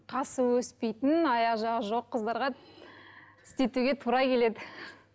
қасы өспейтін аяқ жағы жоқ қыздарға істетуге тура келеді